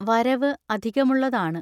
വരവ് അധികമുള്ളതാണ്.